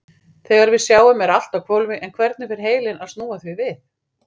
Þegar við sjáum er allt á hvolfi en hvernig fer heilinn að snúa því við?